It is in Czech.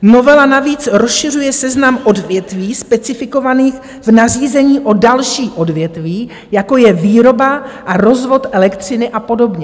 Novela navíc rozšiřuje seznam odvětví specifikovaných v nařízení o další odvětví, jako je výroba a rozvod elektřiny a podobně.